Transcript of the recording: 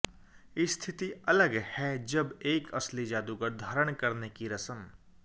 स्थिति अलग है जब एक असली जादूगर धारण करने की रस्म